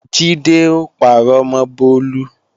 Jídé ó parọ́ mọ́ Bólú